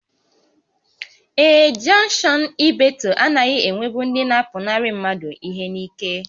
Ee, jọnkshọn Ibeeto anaghị enwebụ ndị na-apụnarị mmadụ ihe n'ike